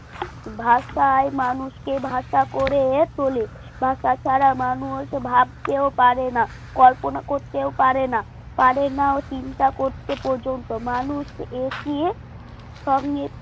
ভাষায় মানুষকে ভাষা করে চলে ভাষা ছাড়া মানুষ ভাবতেও পারে না কল্পনা করতেও পারে না পারে না চিন্তা করতে পর্যন্ত মানুষ এগিয়ে সঙ্গে